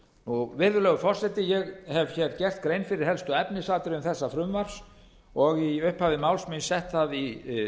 afrit virðulegur forseti ég hef hér gert grein fyrir helstu efnisatriðum þessa frumvarps og í upphafi máls míns sett það í